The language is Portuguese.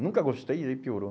Nunca gostei e aí piorou.